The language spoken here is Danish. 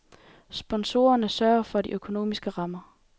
Sponsorerne sørger for de økonomiske rammer.